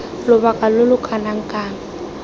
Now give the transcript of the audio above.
lobaka lo lo kana kang